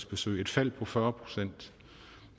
besøg et fald på fyrre procent